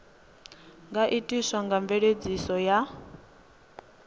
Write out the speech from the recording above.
nga itiswa nga mveledziso ya